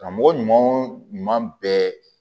Karamɔgɔ ɲuman o ɲuman bɛɛ